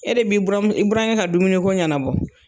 E de b'i buram i burankɛ ka dumuni ko ɲanabɔ.